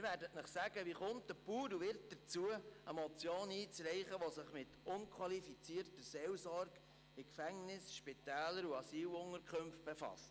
Sie werden sich fragen, wie ein Bauer wie ich dazukommt, eine Motion einzureichen, die sich mit unqualifizierter Seelsorge in Gefängnissen, Spitälern und Asylunterkünften befasst.